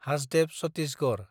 Hasdeo Chhattisgarh